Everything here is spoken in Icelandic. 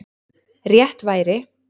Rétt væri